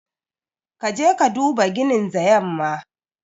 Ka je ka duba ginin the yamma.